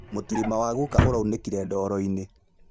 Mũtirima wa guka ũraunĩkire ndooro-inĩ